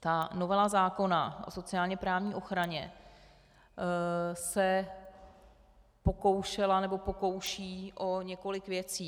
Ta novela zákona o sociálně-právní ochraně se pokoušela nebo pokouší o několik věci.